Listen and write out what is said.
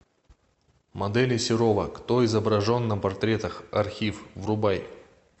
модели серова кто изображен на портретах архив врубай